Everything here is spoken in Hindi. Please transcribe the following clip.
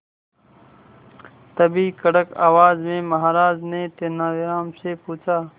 तभी कड़क आवाज में महाराज ने तेनालीराम से पूछा